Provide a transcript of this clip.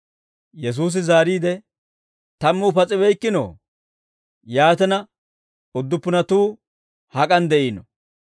Yesuusi zaariide, «Tammuu pas'ibeykkinoo? Yaatina udduppunatuu hak'an de'iinoo?